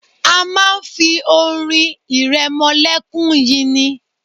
A máa ń fi orin ìrẹmọlẹ́kún yin ni.